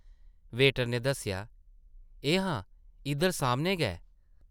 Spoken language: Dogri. वेटर नै दस्सेआ, ‘‘एह् हां, इद्धर सामनै गै ।’’